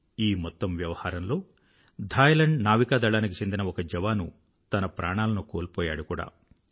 ఈ మొత్తం వ్యవహారంలో ధాయ్ లాండ్ నావికాదళానికి చెందిన ఒక జవాను తన ప్రాణాలను కోల్పోయాడు కూడా